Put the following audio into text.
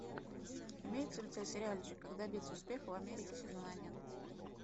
имеется ли у тебя сериальчик как добиться успеха в америке сезон один